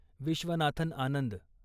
Viswanathan Anand